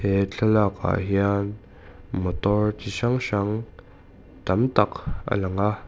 he thlalak ah hian motor chi hrang hrang tam tak a lang a.